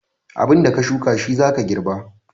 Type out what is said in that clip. Abin da ka shuka shi za ka garba